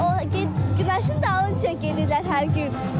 Günəşin dalınca gedirlər hər gün.